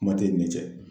Kuma tɛ i ni ce